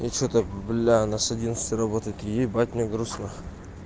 и что-то бля она с одиннадцати работает ебать мне грустно